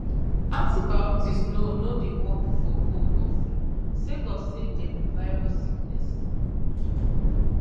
antibiotics no no dey work for cold or flu sake of say dem be virus sickness